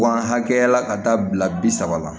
Ban hakɛya la ka taa bila bi saba la